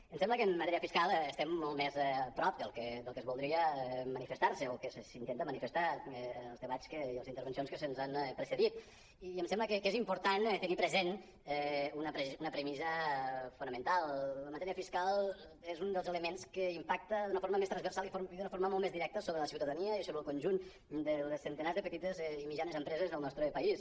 em sembla que en matèria fiscal estem molt més a prop del que es voldria mani·festar o que s’intenta manifestar en els debats i les intervencions que ens han precedit i em sembla que és important tenir present una premissa fonamental la matèria fis·cal és un dels elements que impacta d’una forma més transversal i d’una forma molt més directa sobre la ciutadania i sobre el conjunt dels centenars de petites i mitjanes empreses del nostre país